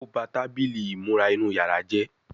O bá Tábìlì ìmúra inú yàrá jé